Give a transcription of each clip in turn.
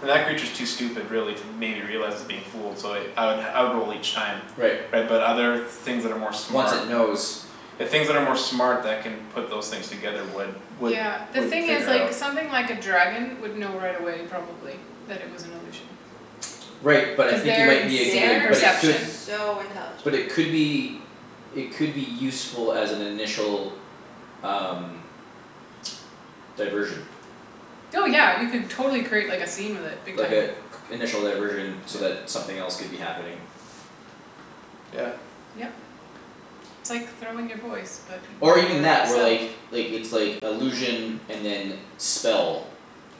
And that creature's too stupid really to maybe realize it's being fooled so I would I would roll each time. Right Right but other things that are more Once smart it knows. The things that are more smart that can Put those things together would would Yeah the Would thing is figure it like out. something like a dragon would know right away probably. That it was an illusion Right but I cuz think you their might be a good insane but it could They're perception. so But intelligent. it could be It could be useful as an initial um Diversion. Oh yeah you could totally create like a scene with it big Like time. a initial diversion so that something else could be happening. Yeah. Yep. It's like throwing your voice, but Or even your that or self. like like it's like illusion and then spell.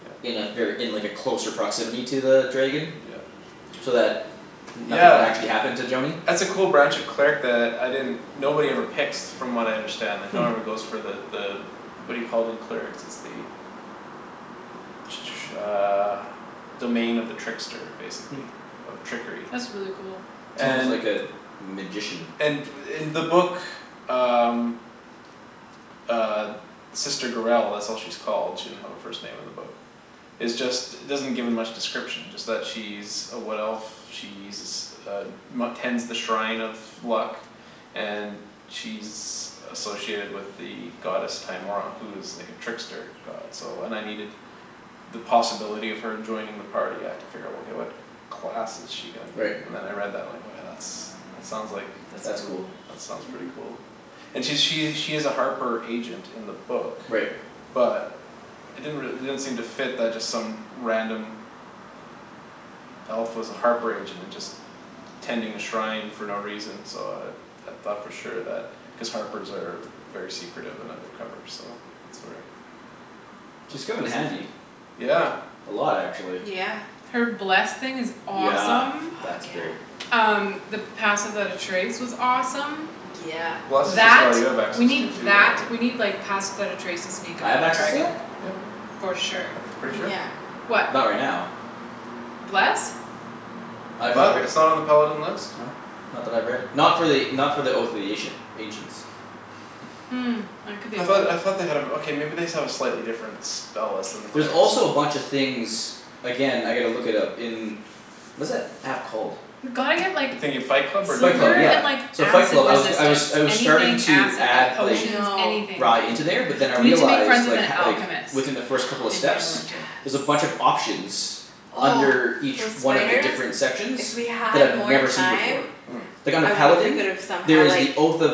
Yeah. In a ver- in like a closer proximity to the dragon. Yeah So that nothing would actually Yeah happen to Joany. that's a cool branch of cleric that I didn't Nobody ever picks from what I understand like No Hmm one ever goes for the the What do you call it in clerics it's the Uh Domain of the trickster Hmm basically. Of trickery. That's really cool. It's almost like And Mhm a magician. And in the book uh Uh Sister Gurell that's what she's called she didn't have her first name in the book. Is just doesn't give me much description it's just she's A wood elf. She's uh Tends the shrine of luck And she's Associated with the goddess Timora who is like a trickster god so and I needed The possibility of her joining the party I had to figure out okay what Class is she gonna be Right. and then I read that line oh yeah that's that sounds like That's That's cool. cool. That sounds pretty Mhm. cool And she she's a harper agent in the book Right. But It didn't re- it didn't seem to fit that just some random Elf was a harper agent and just Tending a shrine for no reason so uh I thought for sure that cuz harpers are Very secretive of undercover so that's where She's Tha- come in that seems like handy. yeah A lot actually. Yeah Her bless thing is Yeah awesome. Fuck that's yeah great. Um the pass without a trace was awesome Yeah Bless is a That spell you have we access need to too though that right we Ye- need like pass without a trace to sneak I up have on a access to dragon. that? Yeah For sure. That's pretty sure Yeah What? Not right now Bless? I I'm not thought right it it's not on the paladin list? Not that I've read. Not for the not for the oath of the Asian ancients. Hmm, that could be I a thought lie. I thought they had a okay maybe they just have a slightly different Spell list than the There's clerics also a bunch of things Again I gotta look it up in Was that app called? We've gotta get like The thing in Fight Club or Fight Club DND silver yeah. and like beyond? So Fight Acid Club. I was g- I was resistance. I was starting Anything to acid. add Like I like potions, know. anything. Rye into there but then I We need to make friends realized with like an h- like alchemist Within the first couple of in steps Neverwinter. There's a Yes bunch of options Oh Under each those one of the spiders different sections If we That had I've more never seen before. time Hmm Like under I wonder if we Paladin, could've there somehow is like the oath of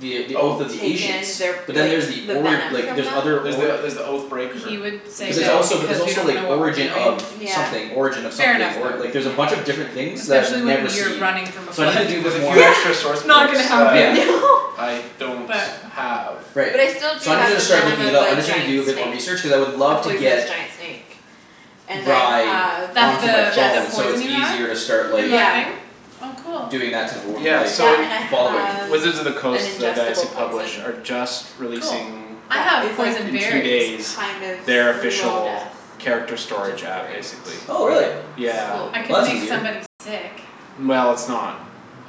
The oath of Oath the ancients. Taken their But then like Yeah there's the the ori- venom like from there's them other There's the org there's the oath breaker He would Did you say But see there's that one? that also there's because we also don't like know what we're origin of doing Yeah Something origin of Fair something enough or- Yeah like though. there's a bunch of different things for sure that I've Especially when never you're seen. running from a There's So I need to flood. a do a there's bit a more few extra Yeah source Not books gonna yeah that happen. I don't But have Right. But I still do So i needed have Which to the start venom looking of it up. I the just need to giant do a bit more snake research cuz I would A love to poisonous get giant snake And I Rye have an That's onto my the the phone ingest so it's poison you have easier to start in like the yeah thing? Oh cool Doing that type of wor- Yeah like That so and I following. have Wizards of the an Coast the guys ingestible who poison. publish are just Cool. Releasing I That have is like poison in two berries. days kind of Their slow official death character Which is storage app great. basically. Oh really. Yeah Slow I Well painful could that's make easier. death. somebody sick Well it's not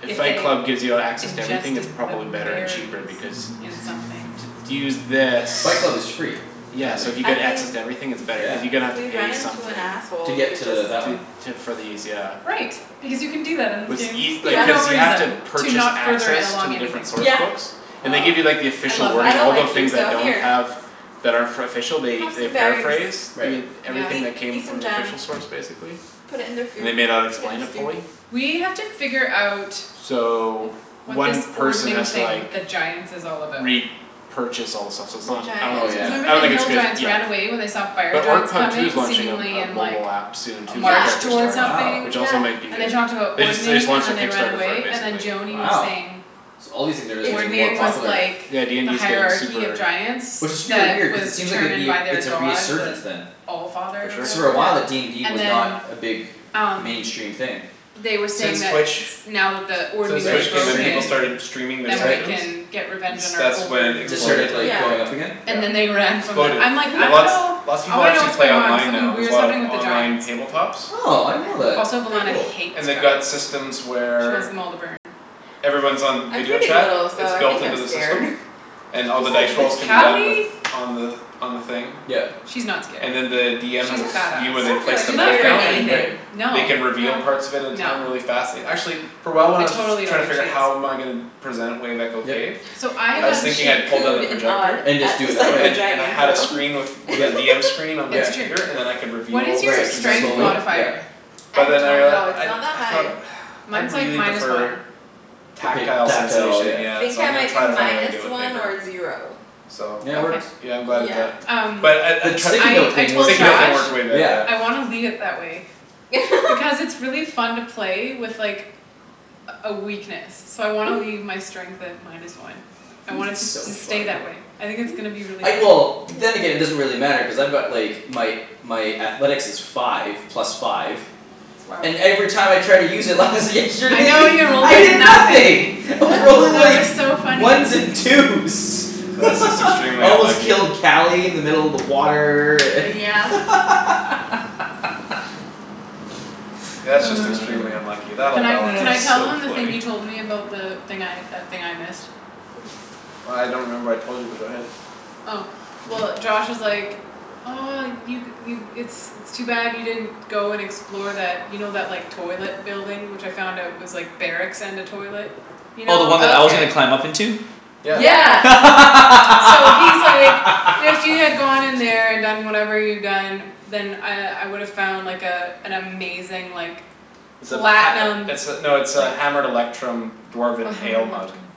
If If Fight they Club gives you access to everything it's ingested the probably better and cheaper berries because in something. To to use this Fight Club is free Yeah currently so if you I get access mean to everything it's better Yeah cuz you're gonna have to We pay run into an something. To asshole we get could just to that one To to for these yeah. Right, because you can do that in this What's game. eas- For Yeah no cuz you have to reason. To Purchase not further access to along the anything. different source Yeah books And they Ah give you like the I official love I wording that. don't all like the you things so that don't here have That are for official they Have they some berries, paraphrase Right Yeah everything eat that came eat some from the jam official source basically. Put it in their And they food. may not Put it explain in it stew. fully. We have to figure out So What this One person ordening has to thing like with the giants is all about. re-purchase all the stuff so it's The not I don't Oh think it's giants? Cuz good yeah. remember I the don't think it's hill good giants ran yet. away when they saw The fire orc giants pub too is coming launching a seemingly a in like mobile app Soon A too Yeah for march character toward storage Wow which something yeah also might be And they good talked about They just they just ordening and launched their then they ran Kickstarter for it away, and then basically. Joany was Wow saying so all these things are like It's getting more weird Ordening cuz was popular. like Yeah The DND's getting hierarchy of super giants Which is fear That weird cuz was it seems like it'd determined be by their it's a god resurgence the then. For Allfather or sure. Cuz for whatever a while uh Yeah DND and was not then a big Um mainstream thing they were saying Since that Twitch Now that the since ordening Right is Twitch came in people streaming broken started streaming their Yeah Then we right sessions. can get revenge It's on our that's when over it It just rulers exploded. started or like whatever. going up Yeah again? And then they Yeah ran from them. Exploded I'm like, "I and dunno. lot Lots of I people wanna know actually what's play going on." online Something now. There's a weird's lot of happening with the online giants. tabletops Oh I I didn't know that. Also didn't like Velana Cool. hates They've got giants. systems She wants where them all to burn. Everyone's on I'm video pretty little chat. so It's I built think into I'm the scared. system And She's all the like dice this rolls can be tough done with Cali On the on the thing Yep She's not scared. And then the DM has She's a s- badass. view where I they don't feel place like the You're she's not mat scared of afraid of down and anything. Right anything. No. They can No reveal parts of it at a No. time really fast and actually For a while when I I was totally don't trying to think figure she is. how am I gonna Present it wave echo Yep cave So I I I was have mean thinking she I'd pull down the cooed and awwed projector And at just do the it that sight of a way. And and I dragon had a so screen with With a Yep DM screen on the It's yep true. computer and then I could What is Reveal Right your sections as we strength go slowly yep modifier? I But then I don't rea- know, it's I not that I high. thought I'd Mine's like really minus prefer one. The pap- tactile tactile sensation yep I yeah think so I I'm gonna might be try to find a way to minus do it with one or paper. zero. So Yeah it Okay works yeah I'm glad I did Yeah that. Um But I I The sticky trie- I note I thing works told Josh Sticky great note thing I was way better yeah yeah. wanna leave it that way. Because it's really fun to play with like A a weakness. So I wanna leave my strength at minus one. I want it It's to so s- stay funny. that way. I think it's gonna be really I fun. well then again Yeah it doesn't really matter cuz I've got like My my athletics is five plus five Wow And every time I tried to use it lies I yesterday know you rolled I like hear nothing. nothing. I was rolling That like was so funny. Ones and twos That's just extremely I almost unlucky. killed Cali in the middle of the water and Oh yeah That's just extremely unlucky. That'll Can I balance can I tell out. So them the thing funny you told me about the thing I that thing I missed? Oh I don't remember what I told you but go ahead. Oh well Josh was like, "Oh you you it's it's too bad you didn't go and explore that." You know that like toilet building which I found out was like Barracks and a toilet? You Oh the one know? that I was Okay gonna climb up into? Yeah Yeah. Yeah So he's like, "If you had gone in there and done whatever you'd done." Then I I would've found like a An amazing like It's a Platinum pat- it's a no it's like a hammered electrum Oh dwarven hammer ale mug. electrum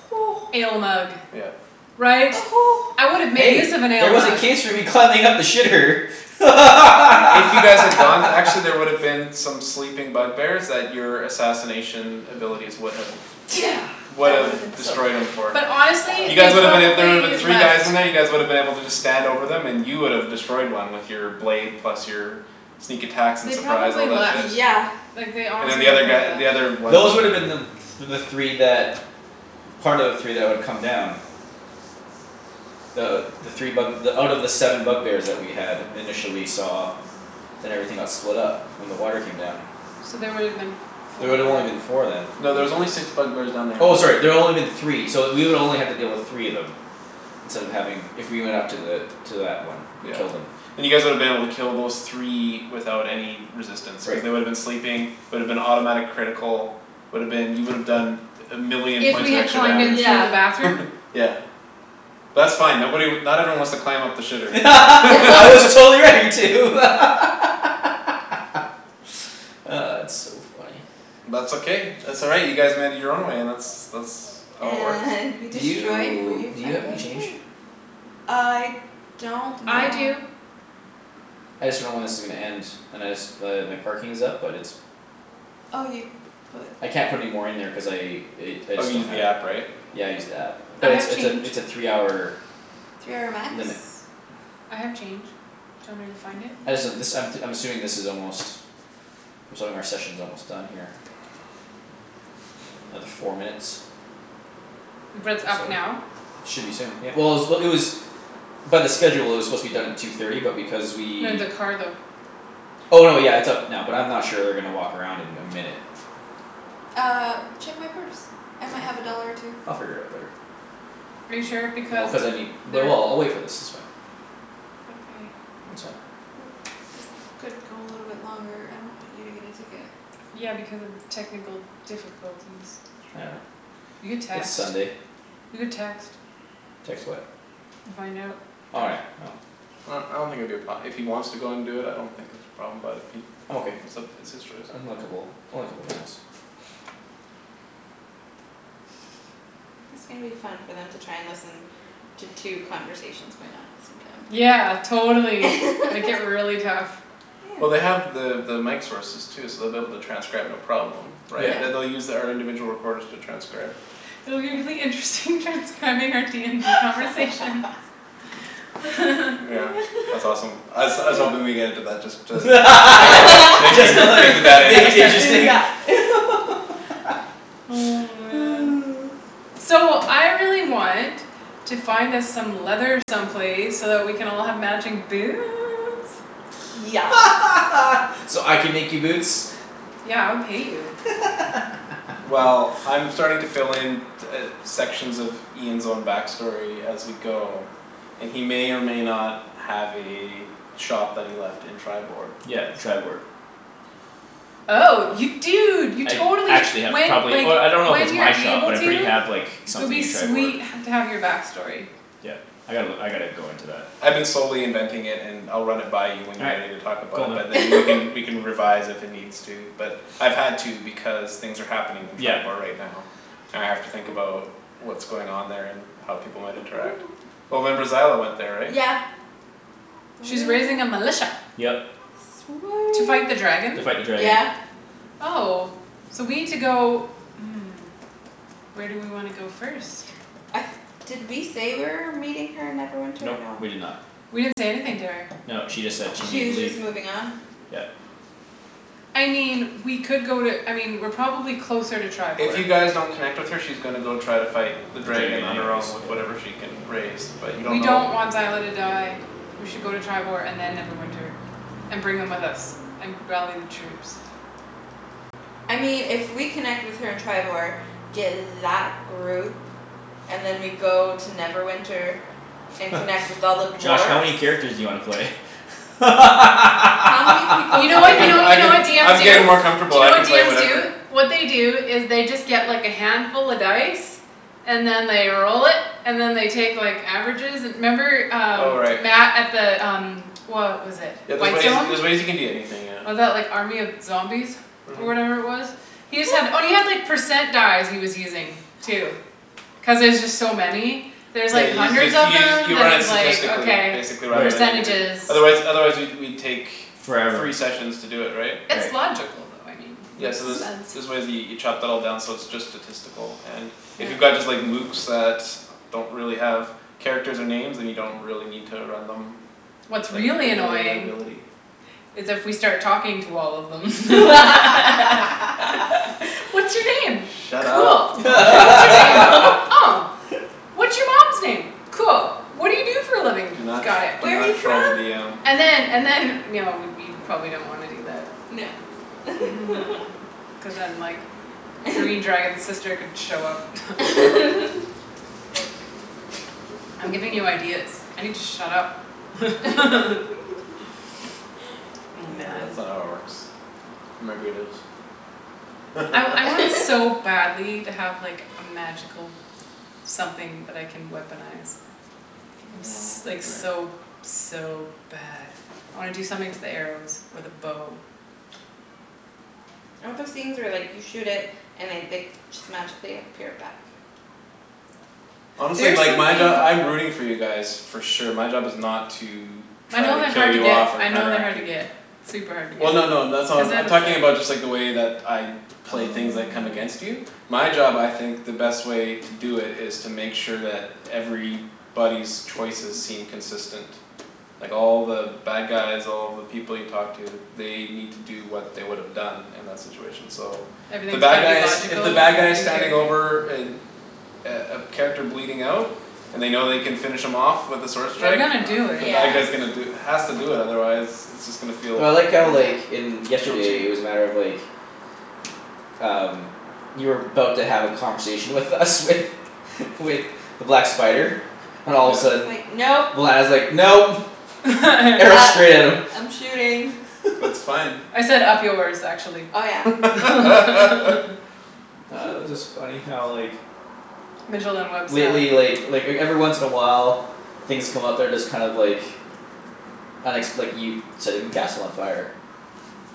Ale mug. Yeah Right? I would've made Hey use of an ale there was a mug. case for me climbing up the shitter If you guys had gone actually there would've been some sleeping bug bears that your assassination abilities would have Yeah that woulda been Would've so destroyed 'em for But That honestly, You woulda guys they woulda been been a- so there woulda been probably three guys left. in there you guys woulda been able to just Stand over 'em and you would've destroyed one with Your blade plus your Sneak attacks and They surprise all probably that left. shit. Yeah Like they And the honestly they other guy probably the other left. ones Those would woulda them the the three that Part of the three that would come down Uh the three bug out of the seven bug bears that we had initially saw Then everything got split up when the water came down. So they woulda been There four would've only been four then. No there's only six bug bears down there in Oh total. sorry there only been three so we would only have to deal with three of them Instead of having if we went up to the to that one and Yeah killed 'em. and you guys woulda been able to kill those three Without any resistance cuz Right they woulda been sleeping Would've been automatic critical Would've been you would've done A million If points we of had extra climbed in damage through Yeah the bathroom? Yeah That's fine nobody not everyone wants to climb up the shitter I was totally ready to It's so funny. That's okay that's all right you guys made it your own way that's that's how it works. And we Do destroyed you Wave do you have any Echo change? Cave. I don't I know do I just dunno when this is gonna end and I just but my parking is up but it's Oh you put I can't put any more in there cuz I i- I Oh just you don't used the have app right? Yeah I used the app I but it's have it's a change. it's a three hour Three hour max limit I have change. Do you want me to go find it? I just uh this Yeah I'm t- I'm assuming this is almost I'm assuming our session's almost done here Another four minutes. But it's Or so. up now? Should be soon yeah. Well it was it was by the schedule it was supposed to be done at two thirty but because we No the car though. Oh no yeah it's up now but I'm not sure they're gonna walk around in a minute. Uh check my purse. I might have a dollar or two. I'll figure it out later. Are you sure? Well Because cuz I need but they're well I'll wait for this it's fine. Okay It's fine. Well this could go a little longer I don't want you to get a ticket. Yeah because of technical difficulties. Whatever, You could it's text. Sunday. You could text. Text what? And find out Oh yeah no Well I don't think it'd be a pro- if he wants to do it I don't think it'd be a problem but if he I'm okay. it's up it's his choice. Unlikeable it's only a couple minutes. It's gonna be fun for them to try and listen to two conversations going on at the same time. Yeah totally make it really tough. Well they Yeah have the the mic sources too so they'll be able to transcribe no problem Yeah. Yeah Right they they'll use our individual recorders to transcribe. Oh it'll be really interesting transcribing out DND conversations. Yeah that's awesome. I was I was hoping we would get into that just to make it that make you Just to like make it that make it interesting. interesting Yeah Oh man So I really want to find us some leather some place so that we can all have matching boots. Yes So I can make you boots? Yeah I would pay you. Well I'm starting to fill in t- uh sections of Ian's own back story as we go And he may or may not Have a shop that he left in Triboar. Yeah Triboar Oh you I dunno dude you I totally actually sh- have when probably like oh I don't know if When it's you're my shop able but I pretty to have like It would Something be in Triboar. sweet h- to have your back story. Yeah I gotta look I gotta go into that. I've been slowly inventing it and I'll run it by you When All you're right ready to talk about cool it man. but then we can We can revise if it needs to but I've had to because things are happening In Yeah Triboar right now, and I have to think about What's going on there and how people might interact. Well remember Zyla went there right? Yeah Oh She's raising a militia. yeah Yep To fight the dragon? To fight the Sweet dragon. yeah Oh. So we need to go Where do we wanna go first? Uh did we say we're meeting her in Neverwinter or Nope no? we did not We didn't say anything to her. No, she just said she She needed to was leave. just moving on? Yeah I mean we could go to I mean we're probably closer to If Triboar. you guys don't connect with her she's gonna go try to fight The The dragon dragon on her anyways own with yeah. whatever she can raise. But you don't We know don't want Zyla to die. We should go to Triboar and then Neverwinter, and bring them with us, and rally the troops. I mean if we connect with her in Triboar, get that group And then we go to Neverwinter And connect with all the Josh how dwarves many characters do you wanna play? How many people You do know we I what you can need know you I to know what bring can into DMs I'm do? getting more this? Do comfortable you know I can what play DMs do? whatever What they do is they just get like a handful of dice. And then they roll it, and then they take like averages and 'member Oh um right. Matt at the um What was it Yeah there's ways Whitestone? there's ways you can do anything yeah. Was that like army of zombies? Or Mhm whatever it was? He just had oh and he had percent dice he was using too. Cuz there's just so many There's Yeah like you hundreds just of use them you you then run it he's like statistically okay basically rather Right than individual Percentages. Otherwise otherwise we'd we'd take Forever. Three sessions to do it right? It's Right. logical though I mean Yeah makes so Mhm there's sense. there's ways you you chop that all down so it's just statistical and If you Yeah got just like Lukes that Don't really have characters or names then you don't really need to run them Like What's really annoying ability is if we start talking to all of them. What's your name? Shut Cool. up don't give What's your them any name? id- Oh What's your mom's name? Cool. What do you do for a living? Do not Got it. do Where're you not troll the from? DM And then and then no we probably don't wanna do that. No Cuz then like Green dragon's sister could show up I'm giving you ideas. I need to shut up Oh Yeah man that's not how it works. I I want so badly to have like a magical Something that I can weaponize. I'm s- No like so so bad I wanna do something to the arrows or the bow. I want those things where like you shoot it and I like just magically appear back. Honestly There's like my job something I'm rooting for you guys. For sure my job is not to My Try know to they're kill hard to you get off or I know they're counteract hard to you get Super hard to Well no no that's get. Cuz not then I'm talking about it's like just the way that I play things that come against Oh you My job I think the best way To do it is to make sure that Everybody's choices seem consistent Like all the bad guys all the people you talk to They need to do what they would've done In that situation so The Everything's bad gotta be guys if logical the bad guys in Standing character? over an A a character bleeding out And they know they can finish him off With a sword They're strike gonna do the it. Yeah bad guy's gonna do Has to do that otherwise It's just gonna feel Well I like how like Yeah in feel yesterday it cheap was a matter of like Um You were 'bout to have a conversation with us with With the black spider and all of And a then he's sudden Yeah like, "Nope." when I was like, "Nope", arrow Uh straight at him I'm shooting. That's fine I said, "Up yours", actually, Oh yeah Oh it was just funny how like Mijolin Webb style. Lately like like everyone once in a while Things come up they're just kind of like Unexp- like you setting the castle on fire.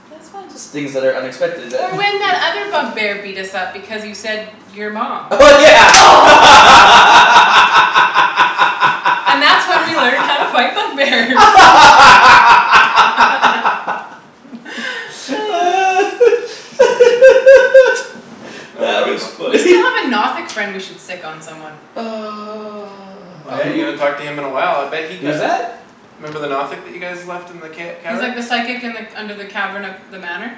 That was fun Things that are unexpected that Or when that other bug bear beat us up because you said, "Your mom." Oh yeah And that's when we learned how to fight bug bears That was a That good was one. We funny. still have a Nothic friend we should sic on someone. Oh Uh yeah you who? haven't talked to him in a while I bet he Who's got that? Remember the Nothic that you guys left in the ca- He's like cavern? the psychic and like under the cavern of the manor.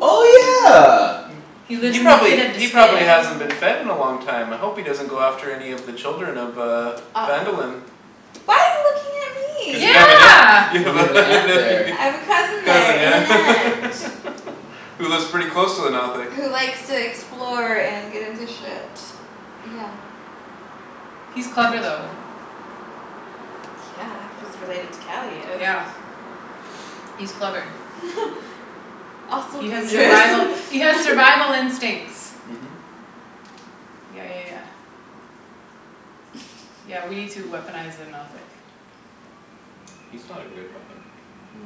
Oh yeah He lives He in the probably pit of he probably despair. hasn't been fed in a long time I hope he doesn't go after any of the children of uh Uh oh. Phandalin Why are you looking at Cuz you me? have a Yeah ne- you have You have an a aunt nephew there there I have a cousin there Cousin and an yeah aunt. Who lives pretty close to the Nothic. Who likes to explore and get into shit. Yeah. He's That's funny. clever though. Yeah, he's related to Calius Yeah He's clever. Also He has dangerous survival he has survival instincts. Mhm Yeah yeah yeah Yeah we need to weaponize the Nothic. He's not a good at weapon.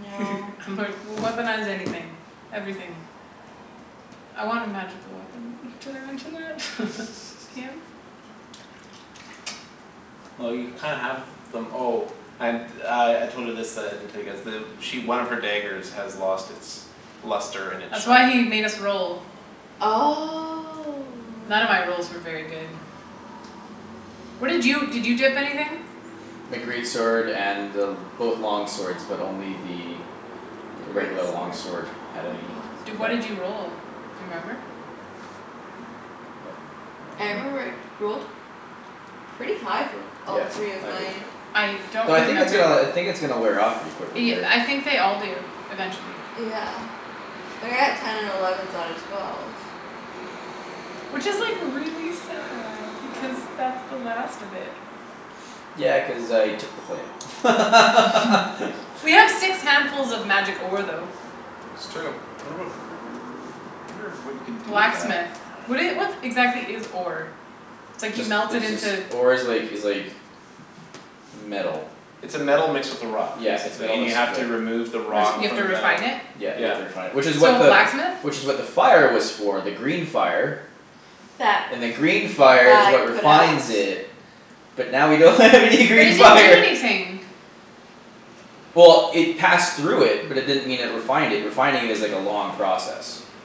No I'm like, "Weaponize anything. Everything." I want a magical weapon. Did I mention that? DM? Well you kinda have them oh And uh I told her this that I didn't tell you guys the She one of her daggers has lost its Luster and its That's why shine he made us roll. None of my Oh rolls were very good. What did you did you dip anything? My great sword and both long swords but only the The The great regular long sword sword had with the any long Di- what effect. did you sword roll? Remember? Nope, I don't I remember remember. rolled Pretty high for b- all Yeah three of I did. mine. I don't Though I think it's remember uh I the think it's gonna wear off pretty quickly y- here. I think they all do eventually. Yeah Like I got ten and elevens out of twelve. Which is like really sad because that's the last of it. Yeah cuz I took the flame We have six handfuls of magic ore though. It's true um I wonder what I wonder what you can do with that. Blacksmith. What do you what exactly is ore? It's like you Just melt it it's just into ore is like is like Metal. It's a metal mixed with a rock Yeah, it's Basically metal and you mixed have with the to remove the Re- so rock you have From to the refine metal. it? Yeah you have Yeah to refine it which is what So the blacksmith? Which is what the fire was for the green fire That And then green fire is I what put out? refines it. But now we don't have any But it green didn't do fire anything. Well it passed through it but it didn't mean it refined it refining is like a long process.